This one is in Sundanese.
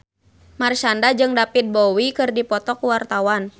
Marshanda jeung David Bowie keur dipoto ku wartawan